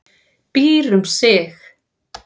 Býr um sig.